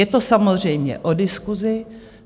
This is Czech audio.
Je to samozřejmě o diskusi.